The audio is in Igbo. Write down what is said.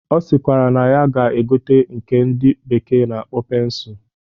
Ọ sịkwara na ya ga-egote nke ndị bekee na-akpọ pensụl